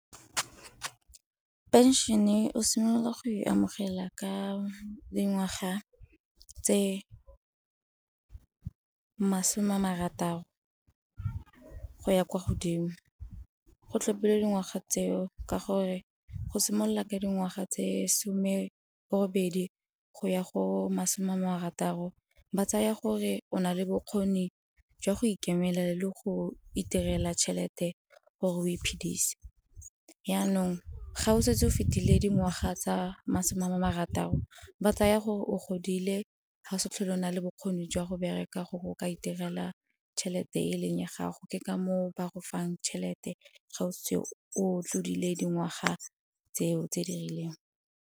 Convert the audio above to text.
Phenšene o simolola go e amogela ka dingwaga tse masome a marataro go ya kwa godimo. Go tlhopilwe dingwaga tseo ka gore go simolola ka dingwaga tse some borobedi go ya go masome a marataro ba tsaya gore o na le bokgoni jwa go ikemelela le go iterela tšhelete gore o iphedise. Jaanong ga o setse o fetile dingwaga tsa masome a marataro ba tsaya gore o godile ga o sa tlhole o na le bokgoni jwa go bereka gore o ka iterela tšhelete e leng ya gago, ke ka moo ba go fang tšhelete ga o setse o tlodile dingwaga tseo tse di rileng.